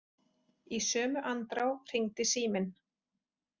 Í sömu andrá hringdi síminn.